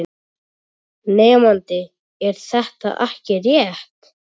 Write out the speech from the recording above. Nemandi: Er þetta ekki rétt?